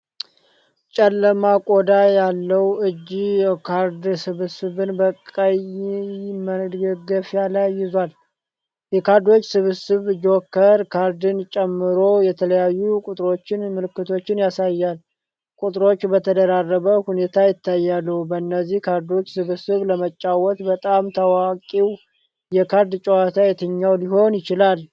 ጨለማ ቆዳ ያለው እጅ የካርድ ስብስብን በቀይ መደገፊያ ላይ ይዟል። የካርዶቹ ስብስብ "ጆከር" ካርድን ጨምሮ የተለያዩ ቁጥሮችና ምልክቶችን ያሳያል፤ ቁጥሮች በተደራረበ ሁኔታ ይታያሉ። በእነዚህ ካርዶች ስብስብ ለመጫወት በጣም ታዋቂው የካርድ ጨዋታ የትኛው ሊሆን ይችላል?